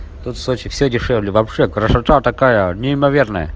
тут в сочи всё дешевле вообще красота такая неимоверная